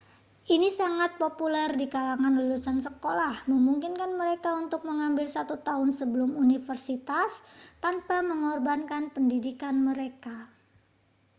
ini sangat populer di kalangan lulusan sekolah memungkinkan mereka untuk mengambil satu tahun sebelum universitas tanpa mengorbankan pendidikan mereka